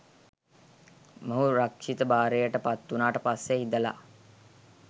මොහු රක්ෂිත භාරයට පත් වුණාට පස්සේ ඉඳලා